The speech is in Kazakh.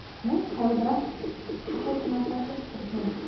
міні тәуба тоқаевтың арқасы президент